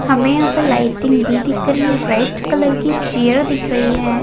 हमें यहाँ पर लाइटिंग भी दिख रही है रेड कलर की चेयर दिख रही है।